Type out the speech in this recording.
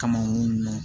Kama u y'o mɛn